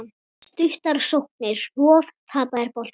Stuttar sóknir, hnoð, tapaðir boltar.